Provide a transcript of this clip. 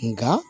Nka